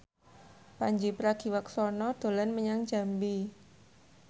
Pandji Pragiwaksono dolan menyang Jambi